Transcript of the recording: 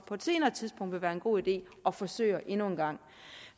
vil være en god idé at forsøge endnu en gang